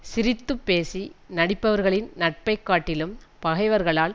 சிரித்து பேசி நடிப்பவர்களின் நட்பை காட்டிலும் பகைவர்களால்